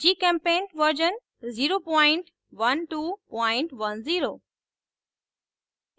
gchempaint version 01210